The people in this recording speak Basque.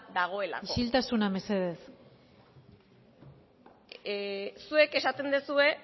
dagoelako isiltasuna mesedez zuek esaten duzue